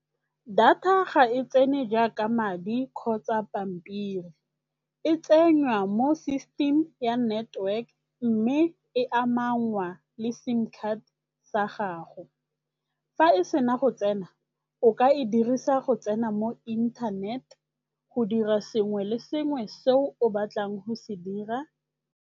Data ga e tsene jaaka madi kgotsa pampiri. E tsenywa mo system ya network mme e amanngwa le sim card sa gago. Fa e sena go tsena, o ka e dirisa go tsena mo inthanet go dira sengwe le sengwe seo o batlang go se dira.